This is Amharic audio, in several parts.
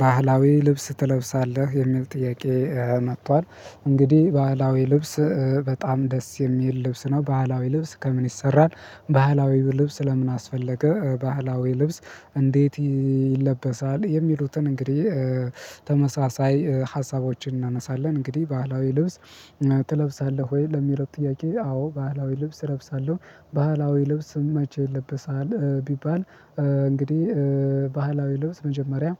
ባህላዊ ልብስ ትለብሳለህ የሚል ጥያቄ መጥቷል እንግዲህ ባህላዊ ልብስ በጣም ደስ የሚል ልብስ ነው። ባህላዊ ልብስ ከምን ይሰራል ባህላዊ ልብስ ለምን አስፈለገ ባህላዊ ልብስ እንዴት ይለበሳል? የሚሉትን እንግዲህ ተመሳሳይ ሀሳቦችን እናነሳለን እንግዲህ ባህላዊ ልብስ ትለብሳለህ ወይ ለሚለው ጥያቄ አዎ ባህላዊ ልብስ እለብሳለሁ። ባህላዊ ልብስም መቼ ይለበሳል ቢባል እንግዲህ ባህላዊ ልብስ መጀመሪያ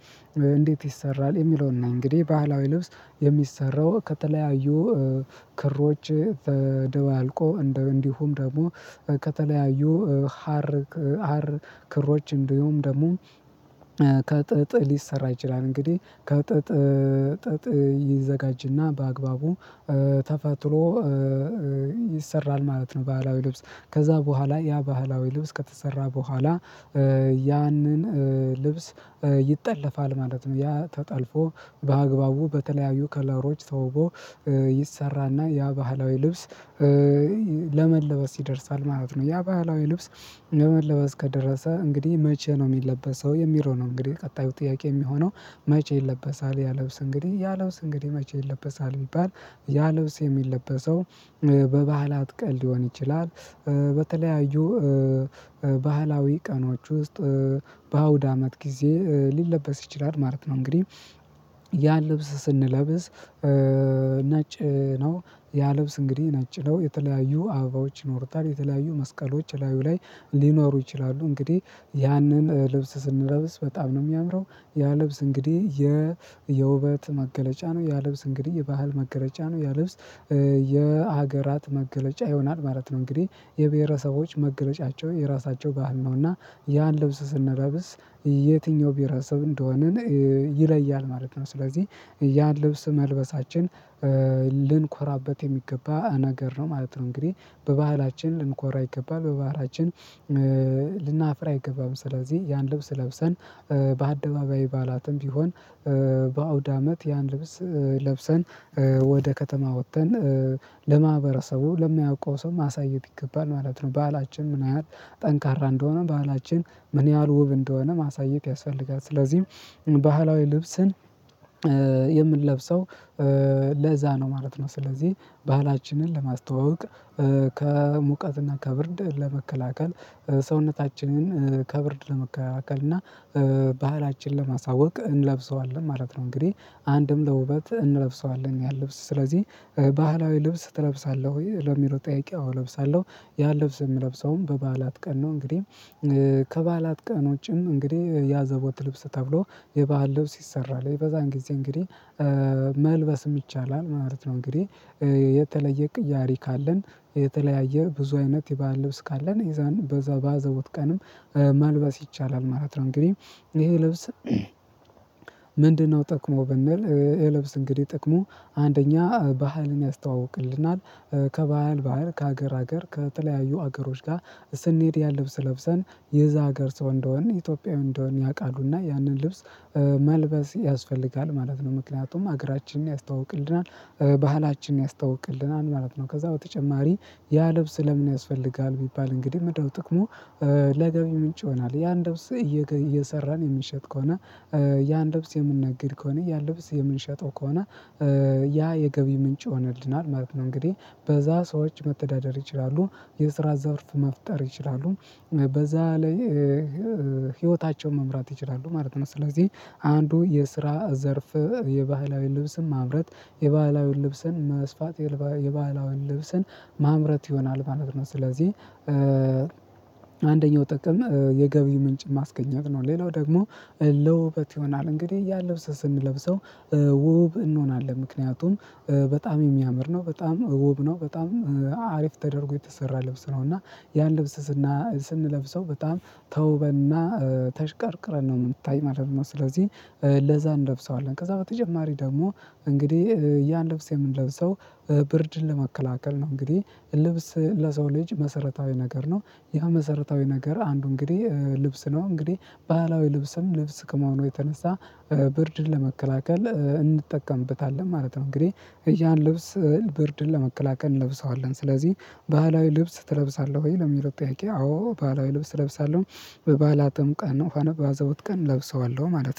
እንዴት ይሰራል የሚለውን ነው። እንግዲህ ባህላዊ ልብስ የሚሰራው ከተለያዩ ክሮች ተደባልቆ እንዲሁም ደግሞ ከተለያዩ ሀር ክሮች እንዲሁም ደግሞ ከጥጥ ሊሰራ ይችላል እንግዲህ ከጥጥ ጥጥ ይዘጋጅና በአግባቡ ተፈትሎ ይሰራል ማለት ነው። ባህላዊ ልብስ ከእዛ በኋላ ያ ባህላዊ ልብስ ከተሰራ በኋላ ያንን ልብስ ይጠለፋል ማለት ነው። ያ ተጠልፎ በአግባቡ በተለያዩ ከለሮች ተውቦ ይሰራና ያ ባህላዊ ልብስ ለመለበስ ይደርሳል ማለት ነው። ያ ባህላዊ ልብስ ለመለበስ ከደረሰ እንግዲህ መቼ ነው የሚለበሰው የሚለው ነው። እንግዲህ ቀጣዩ ጥያቄ የሚሆነው መቼ ይለበሳል ያ ልብስ እንግዲህ ያ ልብስ እንግዲህ መቼ ይለበሳል? ቢባል ያ ልብስ የሚለበሰው በባህላት ቀን ሊሆን ይችላል በተለያዩ ባህላዊ ቀኖች ውስጥ በአውድ አመት ጊዜ ሊለበስ ይችላል ማለት ነው። እንግዲህ ያ ልብስ ስንለብስ ነጭ ነው። ያ ልብስ እንግዲህ ነጭ ነው የተለያዩ አበባዎች ይኖሩታል የተለያዩ መስቀሎች እላዩ ላይ ሊኖሩ ይችላሉ። እንግዲህ ያንን ልብስ ስንለብስ በጣም ነው የሚያምረው ያ ልብስ እንግዲህ የውበት መገለጫ ነው። ያ ልብስ እንግዲህ የባህል መገለጫ ነው። ያ ልብስ የሀገራት መገለጫ ይሆናል ማለት ነው። እንግዲህ የብሄረሰቦች መገለጫቸው የራሳቸው ባህል ነው። እና ያን ልብስ ስንለብስ የትኛው ብሄረሰብ እንደሆንን ይለያል ማለት ነው። ስለዚህ ያን ልብስ መልበሳችን ልንኮራበት የሚገባ ነገር ነው ማለት ነው። እንግዲህ በባህላችን ልንኮራ ይገባል በባህላችን ልናፍር አይገባም። ስለዚህ ያን ልብስ ለብሰን በአደባባይ ባህላትም ቢሆን በአውዳመት ያን ልብስ ለብሰን ወደ ከተማ ወጥተን ለማህበረሰቡ ለማያውቀው ሰው ማሳየት ይገባል ማለት ነው። በዓላችን ምን ያህል ጠንካራ እንደሆነ ባህላችን ምን ያህል ውብ እንደሆነ ማሳየት ያስፈልጋል። ስለዚህም ባህላዊ ልብስን የምንለብሰው ለዛ ነው ማለት ነው። ስለዚህ ባህላችንን ለማስተዋወቅ ከሙቀትና ከብርድ ለመከላከል ሰውነታችንን ከብርድ ለመከላከል እና ባህላችን ለማሳወቅ እንለብሰዋለን ማለት ነው። እንግዲህ አንድም ለውበት እንለብሰዋለን ያን ልብስ ስለዚህ ባህላዊ ልብስ ትለብሳለህ ወይ ለሚለው ጠይቄ አዎ እለብሳለሁ። ያን ልብስ የምለብሰውም በበዓላት ቀን ነው። እንግዲህ ከበዓላት ቀን ውጪም እንግዲህ የአዘቦት ልብስ ተብሎ የበአል ልብስ ይሰራል በዛን ጊዜ እንግዲህ መልበስም ይቻላል ማለት ነው። እንግዲህ የተለየ ቅያሪ ካለን የተለያየ ብዙ አይነት የባህል ልብስ ካለን ይዛን በዛው በአዘቦት ቀንም መልበስ ይቻላል ማለት ነው። እንግዲህ ይሄ ልብስ ምንድነው ጥቅሙ ብንል? ይሄ ልብስ እንግዲህ ጥቅሙ አንደኛ ባህልን ያስተዋውቅልናል። ከባህል ባህል ከሀገር ሀገር ከተለያዩ ሀገሮች ጋር ስንሄድ ያን ልብስ ለብሰን የዛ ሀገር ሰው እንደሆንን ኢትዮጵያዊ እንደሆን ያውቃሉና ያንን ልብስ መልበስ ያስፈልጋል ማለት ነው። ምክንያቱም ሀገራችንን ያስተዋውቅልናል ባህላችንን ያስተዋውቅልናል ማለት ነው። ከዛ በተጨማሪ ያ ልብስ ለምን ያስፈልጋል ቢባል እንግዲህ ምንድነው ጥቅሙ? ለገቢ ምንጭ ይሆናል ያን ልብስ እየሰራን የምንሸጥ ከሆነ ያን ልብስ የምንነግድ ከሆነ ያን ልብስ የምንሸጠው ከሆነ ያ የገቢ ምንጭ ይሆንልናል ማለት ነው። እንግዲህ በዛ ሰዎች መተዳደር ይችላሉ የስራ ዘርፍ መፍጠር ይችላሉ በዛ ላይ ህይወታቸውን መምራት ይችላሉ ማለት ነው። ስለዚህ አንዱ የስራ ዘርፍ የባህላዊ ልብስን ማምረት የባህላዊ ልብስን መስፋት የባህላዊ ልብስን ማምረት ይሆናል ማለት ነው። ስለዚህ አንደኛው ጥቅም የገቢ ምንጭ ማስገኘት ነው። ሌላው ደግሞ ለውበት ይሆናል። እንግዲህ ያን ልብስ ስንለብሰው ውብ እንሆናለን ምክንያቱም በጣም የሚያምር ነው በጣም ውብ ነው በጣም አሪፍ ተደርጎ የተሰራ ልብስ ነው። እና ያን ልብስ ስንለብሰው በጣም ተውበንና ተሽቀርቅረን ነው የምንታየው ማለት ነው። ስለዚህ ለዛ እንለብሰዋለን። ከዛ በተጨማሪ ደግሞ እንግዲህ ያን ልብስ የምንለብሰው ብርድን ለመከላከል ነው። እንግዲህ ልብስ ለሰው ልጅ መሰረታዊ ነገር ነው። ያ መሰረታዊ ነገር አንዱ እንግዲህ ልብስ ነው። እንግዲህ ባህላዊ ልብስም ልብስ ከመሆኑ የተነሳ ብርድን ለመከላከል እንጠቀምበታለን ማለት ነው። እንግዲህ ያን ልብስ ብርድን ለመከላከል እንለብሰዋለን። ስለዚህ ባህላዊ ልብስ ትለብሳለህ ወይ ለሚለው ጥያቄ አዎ ባህላዊ ልብስ እለብሳለሁ። በበአላትም ቀን ሆነ በአዘቦት ቀን እለብሰዋለሁ ማለት ነው